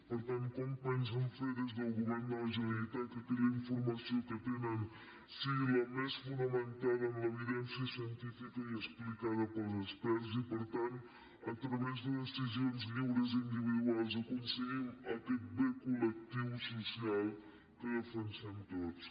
per tant com pensen fer des del govern de la generalitat que aquella informació que tenen sigui la més fonamentada en l’evidència científica i explicada pels experts i per tant a través de decisions lliures i individuals aconseguim aquest bé col·lectiu social que defensem tots